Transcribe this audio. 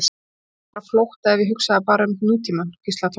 Heldurðu að ég væri á flótta ef ég hugsaði bara um nútímann? hvíslaði Thomas.